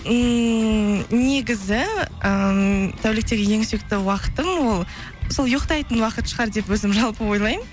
ммм негізі ммм тәуліктегі ең сүйікті уақытым ол сол ұйықтайтын уақыт шығар деп өзім жалпы ойлаймын